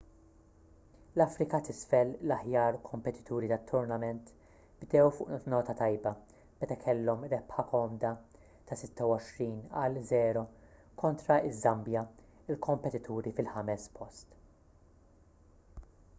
l-afrika t'isfel l-aħjar kompetituri tat-turnament bdew fuq nota tajba meta kellhom rebħa komda ta' 26 - 00 konta ż-żambja il-kompetituri fil-5es post